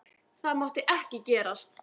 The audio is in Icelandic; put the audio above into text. Það mátti ekki gerast.